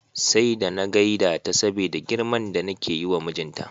Sai da na gaida ta saboda girman da nake yiwa mijinta.